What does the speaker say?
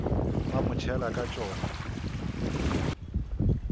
ba mo tšhela ka tšona